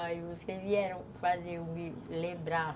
Aí vocês vieram fazer eu me lembrar.